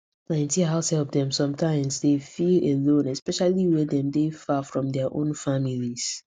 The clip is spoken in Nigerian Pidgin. plenty househelp dem sometimes dey feel alone especially when dem dey far from dia own families